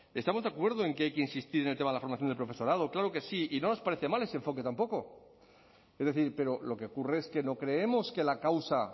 estamos de acuerdo en que hay que insistir en el tema de la formación del profesorado claro que sí y no nos parece mal ese enfoque tampoco es decir pero lo que ocurre es que no creemos que la causa